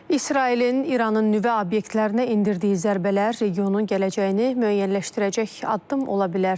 İsrailin İranın nüvə obyektlərinə endirdiyi zərbələr regionun gələcəyini müəyyənləşdirəcək addım ola bilər.